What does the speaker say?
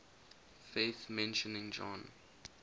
faith mentioning john